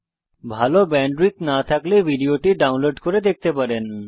যদি ভাল ব্যান্ডউইডথ না থাকে তাহলে আপনি ভিডিওটি ডাউনলোড করে দেখতে পারেন